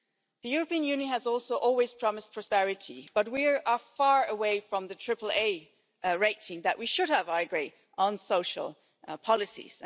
The European Union has also always promised prosperity, but we are far away from the triple A rating that we should have, I agree, on social policies.